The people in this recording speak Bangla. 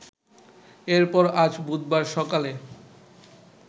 এরপর আজ বুধবার সকালে